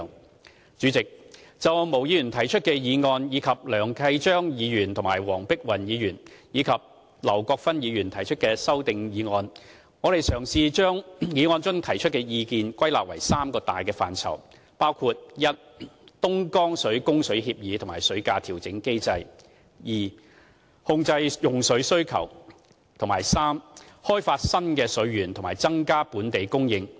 代理主席，就毛議員提出的議案，以及梁繼昌議員、黃碧雲議員和劉國勳議員提出的修正案，我嘗試把當中提出的意見歸納為三大範疇，包括 a 東江水供水協議及水價調整機制 ；b 控制用水需求；及 c 開發新的水源和增加本地供應。